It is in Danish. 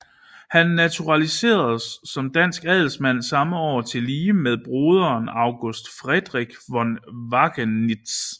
Han naturaliseredes som dansk adelsmand samme år tillige med broderen August Friedrich von Wackenitz